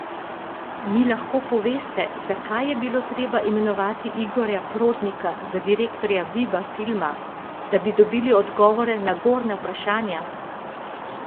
Mi lahko poveste, zakaj je bilo treba imenovati Igorja Prodnika za direktorja Viba filma, da bi dobili odgovore na gornja vprašanja?